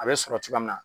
A bɛ sɔrɔ cogoya min na